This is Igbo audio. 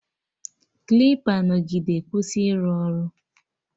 Klipa nọgide kwụsị ịrụ ọrụ